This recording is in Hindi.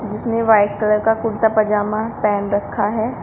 जिसने व्हाइट कलर का कुर्ता पजामा पहन रखा है।